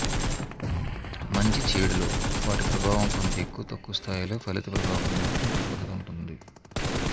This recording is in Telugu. మంచి చేడులో వాటి ప్రభవం కొంత ఎక్కువ తక్కువ స్థాయిలో ఫలిత ప్రభావమ్ మాత్రం తప్పక ఉంటుంది